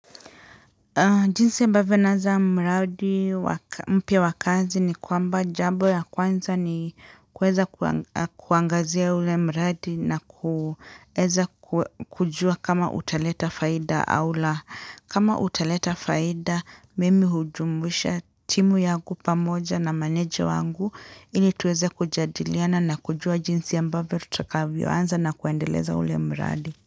Jinsi ambavyo naanza mradi mpya wa kazi ni kwamba jambo ya kwanza ni kuweza kuangazia ule mradi na kuweza kujua kama utaleta faida au la kama utaleta faida mimi hujumuisha timu yangu pamoja na meneja wangu ili tuweze kujadiliana na kujua jinsi ambavyo tutakavyoanza na kuendeleza ule mraudi.